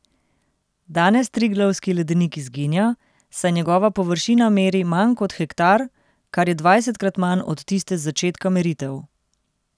Danes Triglavski ledenik izginja, saj njegova površina meri manj kot hektar, kar je dvajsetkrat manj od tiste z začetka meritev.